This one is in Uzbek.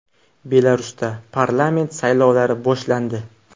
Belarusda parlament saylovlari boshlandi.